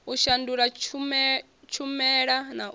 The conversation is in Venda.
u shandula tshumela na u